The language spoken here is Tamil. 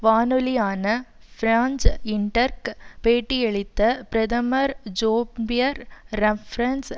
வானொலியான பிரான்சு இன்டர்க் பேட்டியளித்த பிரதமர் ஜோம்பியர் ரஃப்ரன்ஸ்